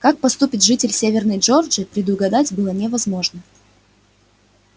как поступит житель северной джорджии предугадать было невозможно